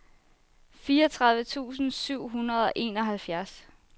fireogtredive tusind syv hundrede og enoghalvfjerds